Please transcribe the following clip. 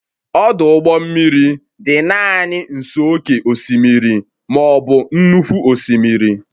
ọdụ ụgbọ mmiri dị naanị nso oke osimiri, ma ọ bụ nnukwu osimiri